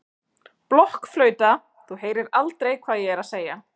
blokkflauta, þú heyrir aldrei hvað ég er að segja.